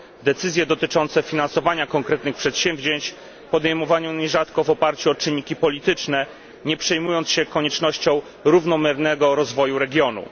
Decyzje dotyczące finansowania konkretnych przedsięwzięć podejmowano nierzadko w oparciu o czynniki polityczne, nie przejmując się koniecznością równomiernego rozwoju regionu.